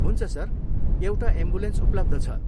हुन्छ सर, एउटा एम्बुलेन्स उपलब्ध छ।